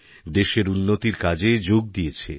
দেশের উন্নতির কাজে যোগ দিয়েছে